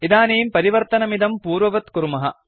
इदानीं परिवर्तनमिदं पूर्ववत् कुर्मः